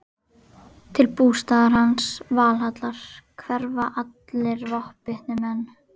Til bústaðar hans, Valhallar, hverfa allir vopnbitnir menn.